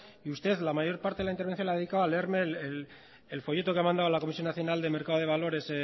y usted la mayor parte de la intervención la ha dedicado a leerme el folleto que ha mandado a la comisión nacional de mercado de valores